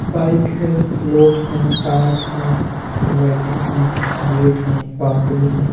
Bike है लोग हैं टास्क हैं लाइटिंग है गेट है बाउंड्री है।